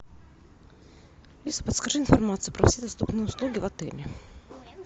алиса подскажи информацию про все доступные услуги в отеле